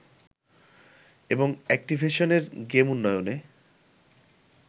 এবং অ্যাকটিভিশনের গেম উন্নয়নে